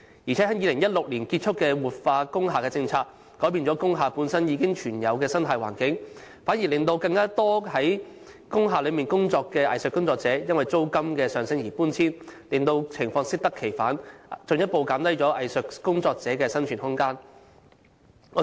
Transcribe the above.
再者，在2016年結束的活化工廈政策改變了工廈本身已存有的生態環境，反而令更多本身在工廈工作的藝術工作者因租金上升而搬遷，令情況適得其反，進一步減低藝術工作者的生存空間。